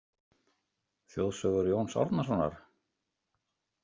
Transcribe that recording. Þjóðsögur Jóns Árnasonar?